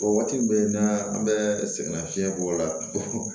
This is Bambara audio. O waati bɛɛ n'a an bɛ sɛgɛnna fiɲɛ bɔ la